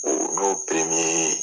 O n'o